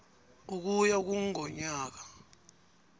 ukuya kur ngomnyaka